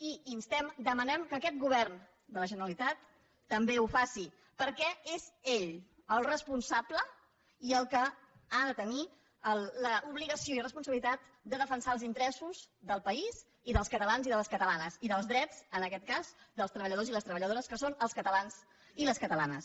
i instem demanem que aquest govern de la generalitat també ho faci perquè és ell el responsable i el que ha de tenir l’obligació i la responsabilitat de defensar els interessos del país i dels catalans i de les catalanes i els drets en aquest cas dels treballadors i les treballadores que són els catalans i les catalanes